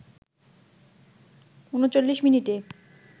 ৩৯ মিনিটে